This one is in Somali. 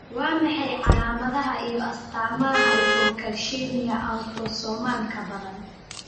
Waa maxay calaamadaha iyo astaamaha Hypocalcemia, autosomal-ka badan?